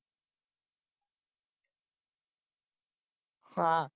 ਹਾਂ।